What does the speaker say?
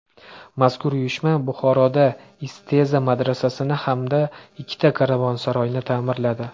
Mazkur uyushma Buxoroda Isteza madrasasini hamda ikkita karvonsaroyni ta’mirladi.